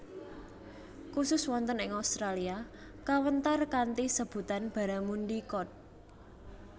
Khusus wonten ing Australia kawéntar kanthi sebutan Barramundi Cod